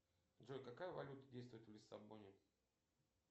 джой какая валюта действует в лиссабоне